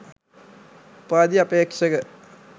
උපාධි අපේක්ෂක